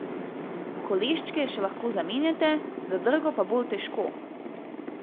Koleščke še lahko zamenjate, zadrgo pa bolj težko.